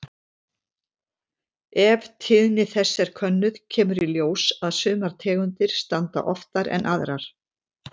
Ef tíðni þess er könnuð kemur í ljós að sumar tegundir stranda oftar en aðrar.